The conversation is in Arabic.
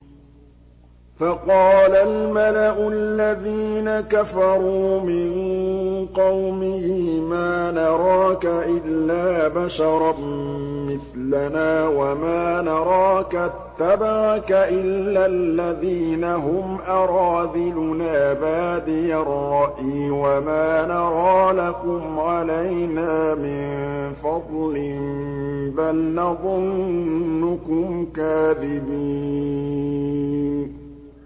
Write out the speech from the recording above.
فَقَالَ الْمَلَأُ الَّذِينَ كَفَرُوا مِن قَوْمِهِ مَا نَرَاكَ إِلَّا بَشَرًا مِّثْلَنَا وَمَا نَرَاكَ اتَّبَعَكَ إِلَّا الَّذِينَ هُمْ أَرَاذِلُنَا بَادِيَ الرَّأْيِ وَمَا نَرَىٰ لَكُمْ عَلَيْنَا مِن فَضْلٍ بَلْ نَظُنُّكُمْ كَاذِبِينَ